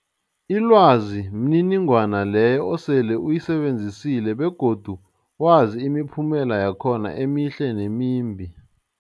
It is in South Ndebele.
Ilwazi mniningwana leyo osele uyisebenzisile begodu wazi imiphumela yakhona emihle nemimbi.